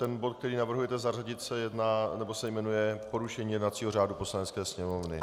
Ten bod, který navrhujete zařadit se jmenuje Porušení jednacího řádu Poslanecké sněmovny.